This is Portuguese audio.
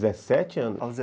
dezessete anos, aos